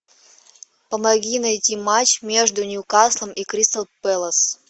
помоги найти матч между ньюкаслом и кристал пэлас